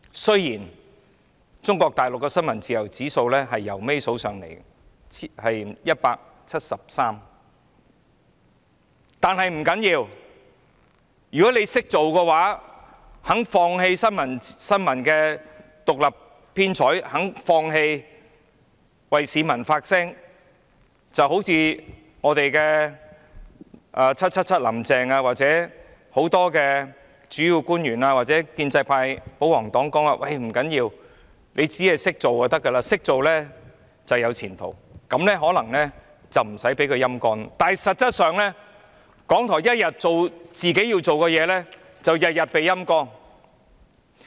雖然中國大陸的新聞自由指數幾近最低，排名第一百七十三，但不要緊，如果你"識做"，願意放棄新聞獨立編採，願意放棄為市民發聲，好像我們的"林鄭 777" 或很多主要官員或建制派保皇黨所說般，不要緊，只要"識做"便可以，"識做"便有前途，這樣便可能不會被"陰乾"，但在現實中，港台一天做自己要做的事，便會天天被"陰乾"。